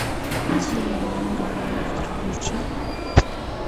дилан моран монстр включи